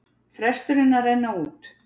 Fresturinn að renna út